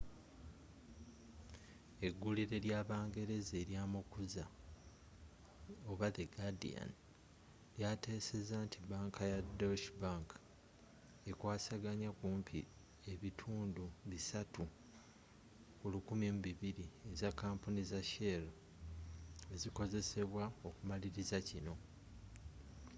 eggulire ly'abangereza elya omukuza the guardian lyatesezza nti banka ya deutsche bank ekwasaganya kumpi ebitundu bisatu lu 1200 eza kampuni za shell ezikozesebwa okumaliriza kino